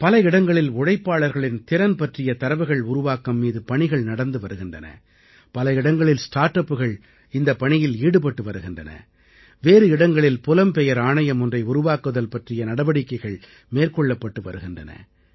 பல இடங்களில் உழைப்பாளர்களின் திறன் பற்றிய தரவுகள் உருவாக்கம் மீது பணிகள் நடந்து வருகின்றன பல இடங்களில் ஸ்டார்ட் அப்புகள் இந்தப் பணியில் ஈடுபட்டு வருகின்றன வேறு இடங்களில் புலம்பெயர் ஆணையம் ஒன்றை உருவாக்குதல் பற்றிய நடவடிக்கைகள் மேற்கொள்ளப்பட்டு வருகின்றன